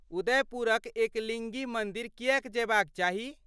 उदयपुरक एकलिङ्गी मन्दिर किएक जयबाक चाही?